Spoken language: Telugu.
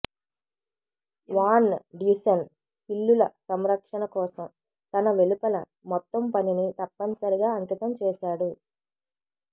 వాన్ డ్యుసెన్ పిల్లుల సంరక్షణ కోసం తన వెలుపల మొత్తం పనిని తప్పనిసరిగా అంకితం చేసాడు